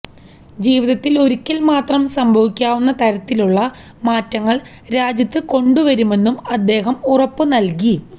ജീവിത്തില് ഒരിക്കല് മാത്രം സംഭവിക്കാവുന്ന തരത്തിലുള്ള മാറ്റങ്ങള് രാജ്യത്ത് കൊണ്ടുവരുമെന്നും അദ്ദേഹം ഉറപ്പു നല്കി